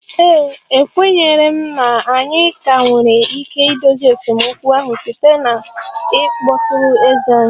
Ee e, ekwenyere m na anyị ka nwere ike idozi esemokwu ahụ site na ịkpọtụrụ eze anyị